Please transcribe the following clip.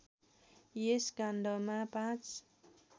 यस काण्डमा ५